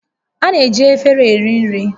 A na-eji efere eri nri